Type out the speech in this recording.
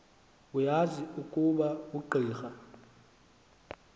uyazi ukuba ungqika